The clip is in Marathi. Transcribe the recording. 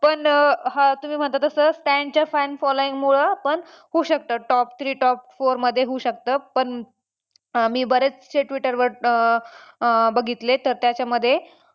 पण हां तुम्ही म्हणता तसं Stan च्या fan following मुळं पण होऊ शकतं top three top four मध्ये होऊ शकतं पण अं मी बरेचसे Twitter वर अं अं बघितले तर त्याच्यामध्ये